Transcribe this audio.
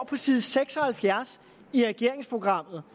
på side seks og halvfjerds i regeringsprogrammet